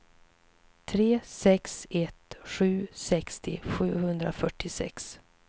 tre sex ett sju sextio sjuhundrafyrtiosex